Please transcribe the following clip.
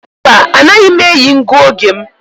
Mba, anaghị m eyi ngụoge m.